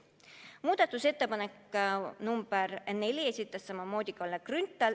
Muudatusettepaneku nr 4 esitas samuti Kalle Grünthal.